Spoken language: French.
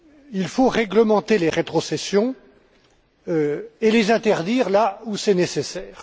Il faut réglementer les rétrocessions et les interdire là où c'est nécessaire.